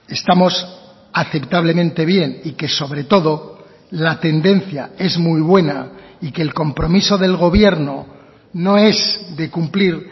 estamos aceptablemente bien y que sobre todo la tendencia es muy buena y que el compromiso del gobierno no es de cumplir